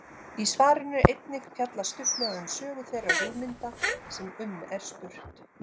Í svarinu er einnig fjallað stuttlega um sögu þeirra hugmynda sem um er spurt.